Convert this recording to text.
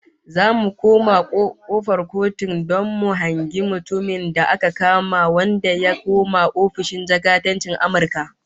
Zamu je kofar Kotun don mu hangi mutumin da aka kama wanda ya kona ofishin jakadancin Amurka